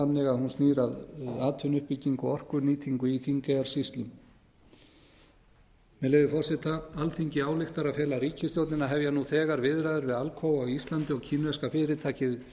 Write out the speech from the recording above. að hún snýr að atvinnuuppbyggingu og orkunýtingu í þingeyjarsýslum með leyfi forseta alþingi ályktar að fela ríkisstjórninni að hefja nú þegar viðræður við alcoa á íslandi og kínverska fyrirtækið